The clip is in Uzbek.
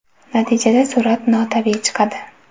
Natijada surat notabiiy chiqadi.